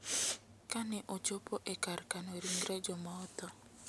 Ka ne ochopo e kar kano ringre joma otho.